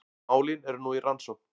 Málin eru nú í rannsókn